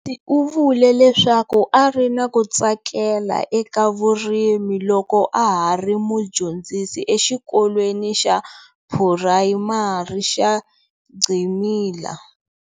U vule leswaku a ri na ku tsakela eka vurimi loko a ha ri mudyondzisi exikolweni xa Phurayimari xa Gcilima.